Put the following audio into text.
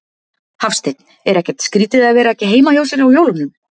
Hafsteinn: Er ekkert skrýtið að vera ekki heima hjá sér á jólunum?